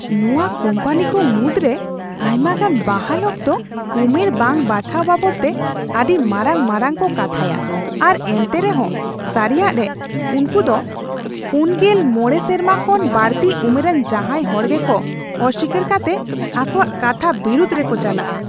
ᱱᱚᱣᱟ ᱠᱳᱢᱯᱟᱱᱤᱠᱚ ᱢᱩᱫᱰᱨᱮ ᱟᱭᱢᱟᱜᱟᱱ ᱵᱟᱦᱟᱞ ᱚᱠᱛᱚ ᱩᱢᱮᱨ ᱵᱟᱝ ᱵᱟᱪᱷᱟᱣ ᱵᱟᱵᱚᱫᱛᱮ ᱟᱹᱰᱤ ᱢᱟᱨᱟᱝ ᱢᱟᱨᱟᱝ ᱠᱚ ᱠᱟᱛᱷᱟᱭᱟ ᱟᱨ ᱮᱱᱛᱮᱦᱚᱸ ᱥᱟᱹᱨᱤᱭᱟᱜ ᱨᱮ, ᱩᱝᱠᱩ ᱫᱚ ᱔᱕ ᱥᱮᱨᱢᱟ ᱠᱷᱚᱱ ᱵᱟᱹᱲᱛᱤ ᱩᱢᱮᱨᱟᱱ ᱡᱟᱦᱟᱭ ᱦᱚᱲ ᱜᱮᱠᱚ ᱚᱥᱤᱠᱟᱹᱨ ᱠᱟᱛᱮᱜ ᱟᱠᱚᱣᱟᱜ ᱠᱟᱛᱷᱟ ᱵᱤᱨᱩᱫᱷ ᱨᱮᱠᱚ ᱪᱟᱞᱟᱜᱼᱟ ᱾